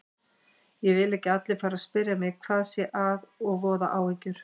Ég vil ekki að allir fari að spyrja mig hvað sé að og voða áhyggjur.